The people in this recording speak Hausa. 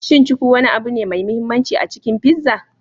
Shin cuku wani abu ne mai mahimmanci a cikin pizza?